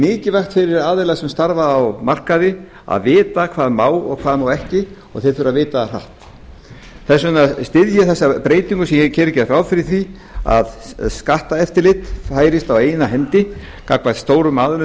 mikilvægt fyrir aðila sem starfa á markaði að vita hvað má og hvað ekki og þeir þurfa að vita það hratt þess vegna styð ég þessa breytingu sem hér er gert ráð fyrir því að skatteftirlit færist á eina hendi gagnvart stórum aðilum